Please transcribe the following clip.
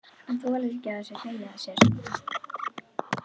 Hann þolir ekki að það sé hlegið að sér.